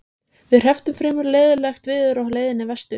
Við hrepptum fremur leiðinlegt veður á leiðinni vestur.